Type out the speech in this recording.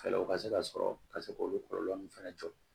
Fɛɛrɛw ka se ka sɔrɔ ka se k'olu kɔlɔlɔ ninnu fɛnɛ jɔ